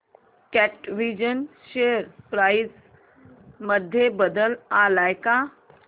कॅटविजन share price मध्ये बदल आलाय का